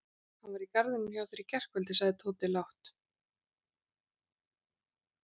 Hann var í garðinum hjá þér í gærkvöldi sagði Tóti lágt.